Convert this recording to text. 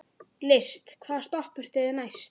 List, hvaða stoppistöð er næst mér?